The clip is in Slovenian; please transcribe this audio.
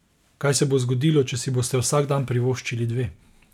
Kaj se bo zgodilo, če si boste vsak dan privoščili dve?